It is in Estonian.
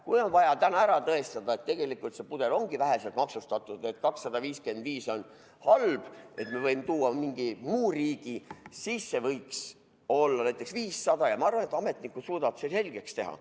Kui on vaja täna tõestada, et tegelikult see pudel ongi vähe maksustatud, et 255 eurot on halb, ma võin tuua mingi muu riigi sisse, võiks olla näiteks 500 eurot, siis ma arvan, et ametnik suudaks selle selgeks teha.